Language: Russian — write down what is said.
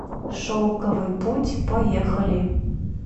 шелковый путь поехали